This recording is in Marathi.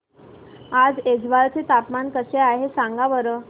आज ऐझवाल चे तापमान काय आहे सांगा बरं